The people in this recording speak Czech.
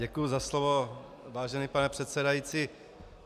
Děkuji za slovo, vážený pane předsedající.